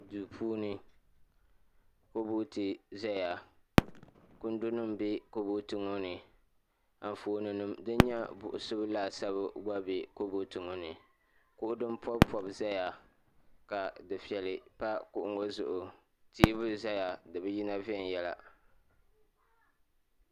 duu puuni kabooti ʒɛya kundi nim bɛ kabooti ŋɔ ni Anfooni nim din nyɛ buɣusibu laasabu gba bɛ kabood ŋɔ ni kuɣu din pobi pobi ʒɛya ka dufɛli pa kuɣu ŋɔ zuɣu teebuli ʒɛya di bi yina viɛnyɛla